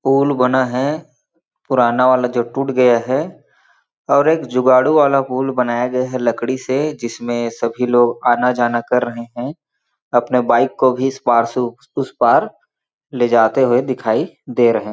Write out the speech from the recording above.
pool बना है पुराना वाला जो टूट गया है और एक जुगाड़ू वाला पूल बनाया गया है लकड़ी से जिसमें सभी लोग आना-जाना कर रहे है अपने बाइक को भी इस पार से उस पार ले जाते हुए दिखाई दे रहे --